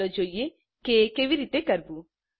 ચાલો જોઈએ એ કેવી રીતે કરવું